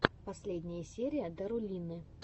последняя серия даруллины